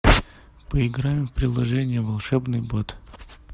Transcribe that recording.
поиграем в приложение волшебный бот